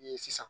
Ni sisan